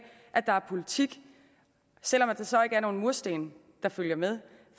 at der er politik selv om der så ikke er nogen mursten der følger med